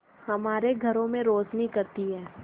हमारे घरों में रोशनी करती है